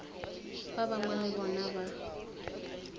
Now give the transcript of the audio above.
ba bangwe le bona ba